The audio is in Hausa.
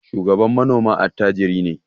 Shugaban manoma attajiri ne.